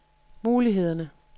mulighederne